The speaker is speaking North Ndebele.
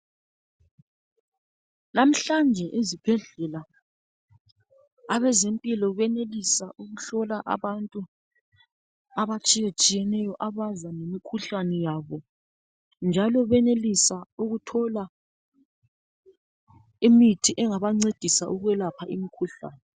Lamhlanje ezibhedlela abezempilakahle benelisa ukuhlola abantu abatshiyetshiyeneyo abazi ngemikhuhlane yabo njalo benelisa ukuthola imithi engabancedisa ukwelapha imikhuhlane.